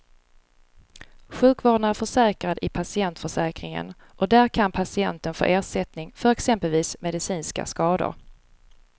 Sjukvården är försäkrad i patientförsäkringen och där kan patienten få ersättning för exempelvis medicinska skador.